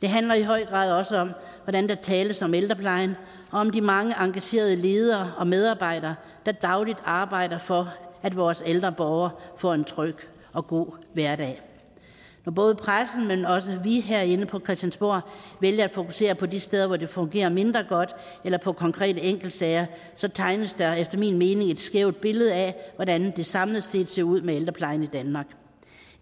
det handler i høj grad også om hvordan der tales om ældreplejen og om de mange engagerede ledere og medarbejdere der dagligt arbejder for at vores ældre borgere får en tryg og god hverdag når både pressen men også vi herinde på christiansborg vælger at fokusere på de steder hvor det fungerer mindre godt eller på konkrete enkeltsager tegnes der efter min mening et skævt billede af hvordan det samlet set ser ud med ældreplejen i danmark